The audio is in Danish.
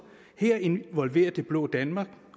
her involverer det blå danmark